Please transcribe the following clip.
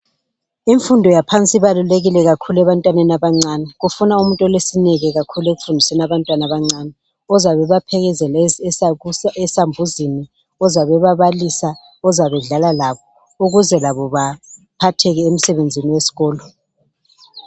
Imfundo yaphansi ibalulekile kakhulu ebantwaneni abancane. Kufuna umuntu olesineke kakhulu, ekufundiseni abantwana abancane. Ozabe ebaphelekezela esambuzini. Ozabe ebabalisa. Ozabe edlala labo. Ukuze labo baphatheke emsebenzini wesikolo.